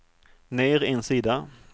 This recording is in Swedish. ner en sida